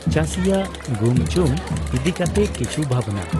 ᱪᱟᱥᱤᱭᱟᱜ ᱜᱩᱢᱪᱩᱢ ᱤᱫᱤ ᱠᱟᱛᱮᱜ ᱠᱤᱪᱷᱩ ᱵᱷᱟᱵᱱᱟ